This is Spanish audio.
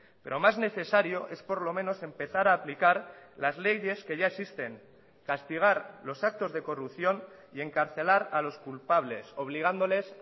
pero más necesario es por lo menos empezar a aplicar las leyes que ya existen castigar los actos de corrupción y encarcelar a los culpables obligándoles